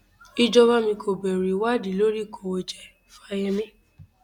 ìjọba mi kò bẹrù ìwádìí lórí ìkówójẹ fáyemí